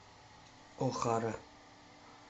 охара